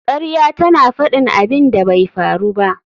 Ƙarya tana faɗin abin da bai faru ba